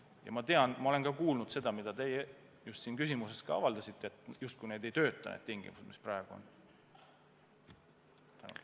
Ja ma olen ka kuulnud seda, mida teie oma küsimust esitades väitsite, et need tingimused justkui ei tööta.